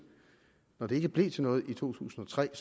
når det ikke blev til noget i to tusind og tre